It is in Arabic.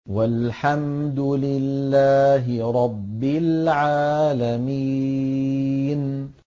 وَالْحَمْدُ لِلَّهِ رَبِّ الْعَالَمِينَ